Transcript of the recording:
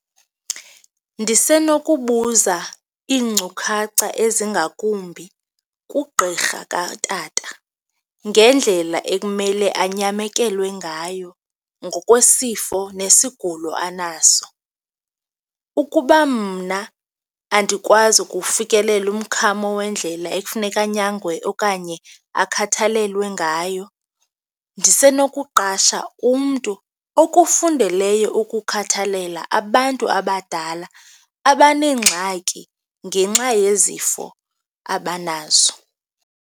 Ndisenokubuza iinkcukacha ezingakumbi kugqirha katata ngendlela ekumele anyamekelwe ngayo ngokwesifo nesigulo anaso. Ukuba mna andikwazi ukuwufikelela umkhamo wendlela ekufuneka anyangwe okanye akhathalelwe ngayo, ndisenokuqasha umntu okufundeleyo ukukhathalela abantu abadala abaneengxaki ngenxa yezifo abanazo.